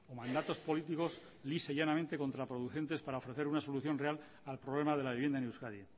mandatos políticos lisa y llanamente contraproducentes para ofrecer una solución real al problema de la vivienda en euskadi